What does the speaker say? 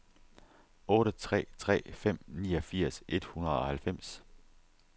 otte tre tre fem niogfirs et hundrede og halvfems